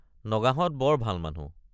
নগাহঁত বৰ ভাল মানুহ।